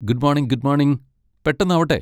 good മോണിങ് good മോണിങ്, പെട്ടെന്നാവട്ടെ